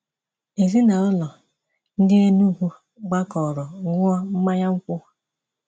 Ezinaụlọ ndị Enugwu gbakọrọ ṅụọ mmanya nkwụ.